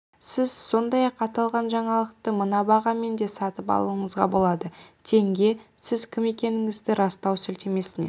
сіз сондай-ақ аталған жаңалықты мына бағамен де сатып алуыңызға болады тенге сіз кім екендігіңізді растау сілтемесіне